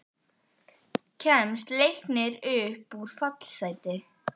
Kemst Leiknir upp úr fallsæti?